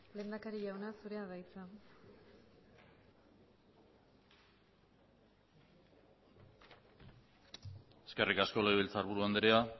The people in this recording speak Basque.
lehendakari jauna zurea da hitza eskerrik asko legebiltzarburu andrea